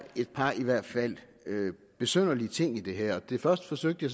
et par i hvert fald besynderlige ting i det her den første forsøgte